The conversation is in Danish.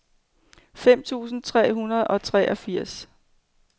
fem tusind tre hundrede og treogfirs